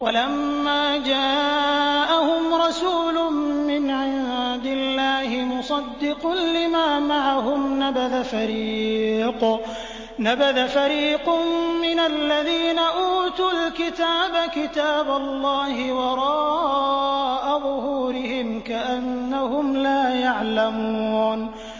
وَلَمَّا جَاءَهُمْ رَسُولٌ مِّنْ عِندِ اللَّهِ مُصَدِّقٌ لِّمَا مَعَهُمْ نَبَذَ فَرِيقٌ مِّنَ الَّذِينَ أُوتُوا الْكِتَابَ كِتَابَ اللَّهِ وَرَاءَ ظُهُورِهِمْ كَأَنَّهُمْ لَا يَعْلَمُونَ